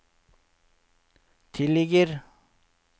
tilligger